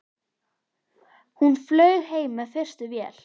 Hún flaug heim með fyrstu vél.